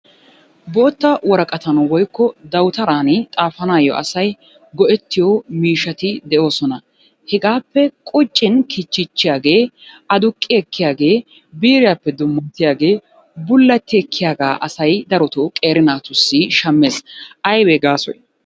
Bootta woraqattan woykko dawutaran xaafanayoo asay go'ettiyo mishshaati de'oosona. Hegaappe quccin kichchichchiyaagee aduqqi ekkiyaagee biiriyaappe dummattiyaagee bulatti ekkiyaagaa asay darotoo asay qeeri naatussi shammees aybee gaasoy?